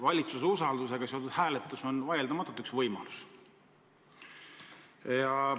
Valitsuse usaldusega seotud hääletus on vaieldamatult üks võimalus.